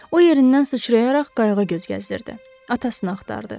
O yerindən sıçrayaraq qayıqda gəzdirirdi, atasını axtardı.